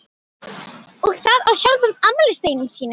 Og það á sjálfum afmælisdeginum sínum.